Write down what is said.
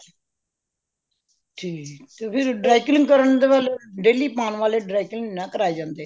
ਠੀਕ ਫੇਰ dry clean ਕਰਨ ਦੇ ਪਹਲੇ daily ਪੈਣ ਵਾਲੇ dry clean ਨਹੀਂ ਕਰਾਏ ਜਾਂਦੇ